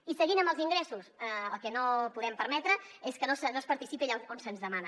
i seguint amb els ingressos el que no podem permetre és que no es participi allà on se’ns demana